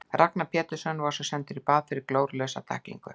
Ragnar Pétursson var svo sendur í bað fyrir glórulausa tæklingu.